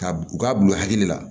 K'a u k'a bila u hakili la